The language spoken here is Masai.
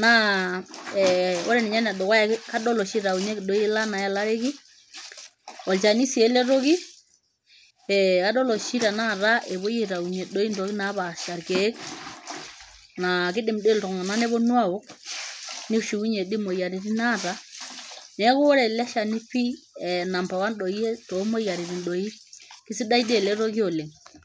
naa eh ore ninye enedukuya kadol oshi itaunyueki doi ila nayelareki olchani sii ele toki eh adol oshi tenakata epuoi aitaunyie doi intokitin napaasha irkeek naa kidim dii iltung'anak neponu awok nishiunyie dii imoyiaritin naata neeku ore ele shani pii eh number one doi tomoyiaritin doi kisidai dii ele toki oleng.